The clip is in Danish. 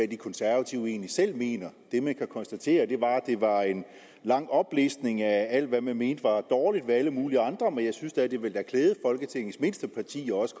de konservative egentlig selv mener det man kan konstatere er at det var en lang oplistning af alt hvad man mente var dårligt ved alle mulige andre men jeg synes da at det ville klæde folketingets mindste parti også